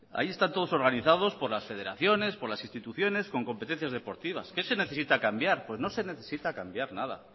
hay están todos organizados por las federaciones por las instituciones con competencias deportivas qué se necesita cambiar pues no se necesita cambiar nada